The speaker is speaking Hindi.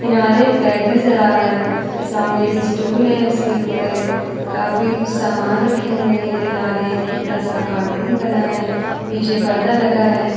किनारे एक बैग नज़र आ रहा है। सामने एक स्टूल है। उसके ऊपर काफी कुछ सामान रखे हुए हैं। किनारे एक छोटा-सा कार्टून बना है। पीछे पर्दा लगा है।